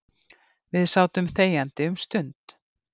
Við sátum þegjandi um stund.